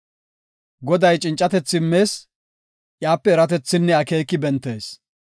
Goday cincatethi immees; iyape eratethinne akeeki bentees.